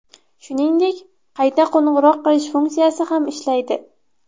Shuningdek, qayta qo‘ng‘iroq qilish funksiyasi ham ishlaydi.